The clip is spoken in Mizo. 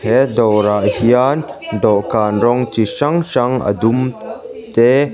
he dâwrah hian dawhkân rawng chi hrang hrang a dum te--